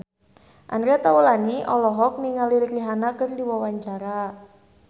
Andre Taulany olohok ningali Rihanna keur diwawancara